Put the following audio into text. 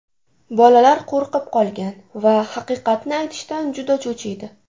Bolalar qo‘rqib qolgan va haqiqatni aytishdan juda cho‘chiydi.